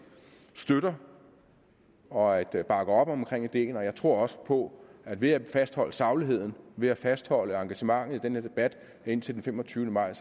støtter og bakker op om ideen og jeg tror også på at ved at fastholde sagligheden ved at fastholde engagementet i den her debat indtil den femogtyvende maj